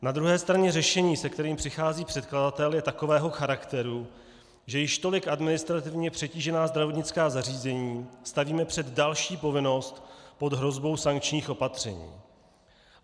Na druhé straně řešení, se kterým přichází předkladatel, je takového charakteru, že již tolik administrativně přetížená zdravotnická zařízení stavíme před další povinnost pod hrozbou sankčních opatření.